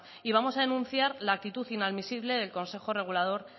y vamos a denunciar la actitud inadmisible el consejo regulador